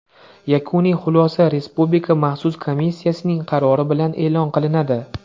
Yakuniy xulosa Respublika maxsus komissiyasining qarori bilan e’lon qilinadi.